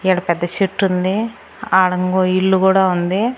ఈడ పెద్ద సెట్టుంది ఆడ ఇంగో ఇల్లు గూడా ఉంది.